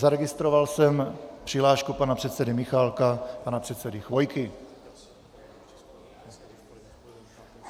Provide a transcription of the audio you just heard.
Zaregistroval jsem přihlášku pana předsedy Michálka a pana předsedy Chvojky.